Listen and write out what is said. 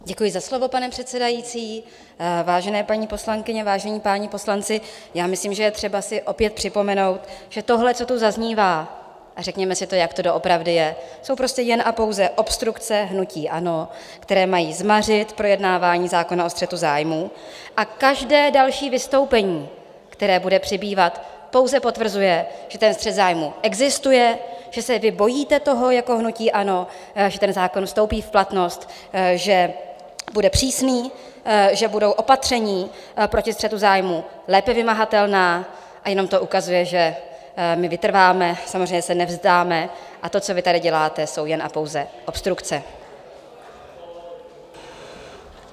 Děkuji za slovo, pane předsedající, vážené paní poslankyně, vážení páni poslanci, já myslím, že je třeba si opět připomenout, že tohle, co tu zaznívá, a řekněme si to, jak to doopravdy je, jsou prostě jen a pouze obstrukce hnutí ANO, které mají zmařit projednávání zákona o střetu zájmů, a každé další vystoupení, které bude přibývat, pouze potvrzuje, že ten střet zájmů existuje, že se vy bojíte toho jako hnutí ANO, že ten zákon vstoupí v platnost, že bude přísný, že budou opatření proti střetu zájmů lépe vymahatelná, a jenom to ukazuje, že my vytrváme, samozřejmě se nevzdáme a to, co vy tady děláte, jsou jen a pouze obstrukce!